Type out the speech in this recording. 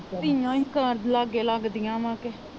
ਧੀਆਂ ਹੀ ਕ ਲਾਗੇ ਲੱਗਦੀਆਂ ਵਾਂ ਅੱਗੇ।